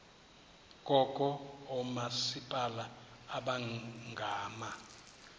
kukho oomasipala abangama